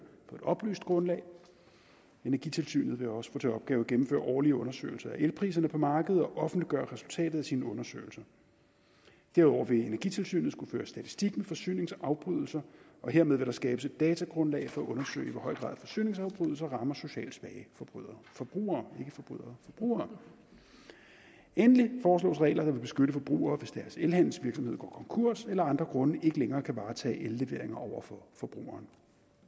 på et oplyst grundlag energitilsynet vil også få til opgave at gennemføre årlige undersøgelser af elpriserne på markedet og offentliggøre resultatet af sine undersøgelser derudover vil energitilsynet skulle føre statistik med forsyningsafbrydelser og hermed vil der skabes et datagrundlag for at undersøge i hvor høj grad forsyningsafbrydelser rammer socialt svage forbrugere forbrugere endelig foreslås regler der vil beskytte forbrugere hvis deres elhandelsvirksomhed går konkurs eller af andre grunde ikke længere kan varetage elleveringer over for forbrugeren